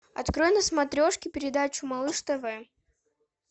открой на смотрешке передачу малыш тв